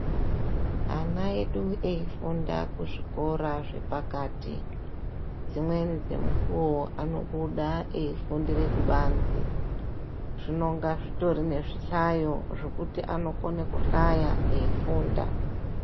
Ana edu eifunda kuzvikora zvepakati dzimweni dzemukuwo anobuda eifundire kubanze, zvinonga zvitori nezvihlayo zvekuti anokone kuhlaya eifunda.